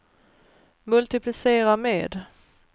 multiplicera med